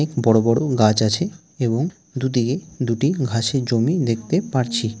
অনেক বড়ো বড়ো গাছ আছে এবং দুটিকে দুটি ঘাসের জমি দেখতে পারছি।